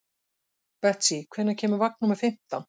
Betsý, hvenær kemur vagn númer fimmtán?